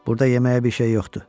Burda yeməyə bir şey yox idi.